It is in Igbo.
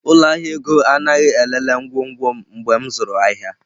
Ụlọ ahịa ego anaghị elele ngwongwo m mgbe m zụrụ ahịa.